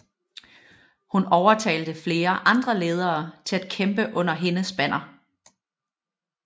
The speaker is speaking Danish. Hun overtalte flere andre ledere til at kæmpe under hendes banner